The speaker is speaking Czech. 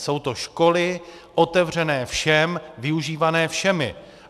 Jsou to školy otevřené všem, využívané všemi.